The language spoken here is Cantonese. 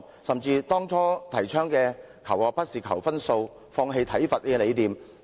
政府當初倡議的'求學不是求分數'、'放棄體罰'等理念往哪裏去了？